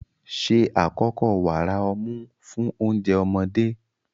Ṣe àkọ́kọ́ wàrà ọmú fún oúnjẹ ọmọdé.